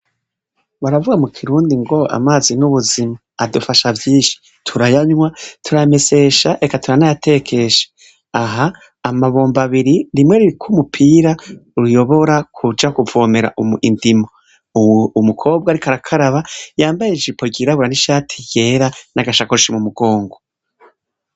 Baravuga mukirundi ngo amazi n'ubuzima adufasha vyinshi, turayanwa, turayamesesha ,eka turanayatekesha, aha amabombo abiri rimwe ririko umupira uyobora kuja kuvomera indimo, umukobwa ariko arakara yambaye ijipo ryirabura nishakoshi mu mugongo.